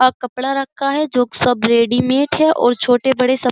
अ कपड़ा रखा है जो सब रेडीमेड है और छोटे बड़े सब --